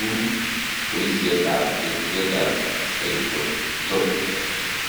u boisietab kerichekab psychotropic .